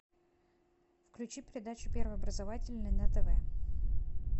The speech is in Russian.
включи передачу первый образовательный на тв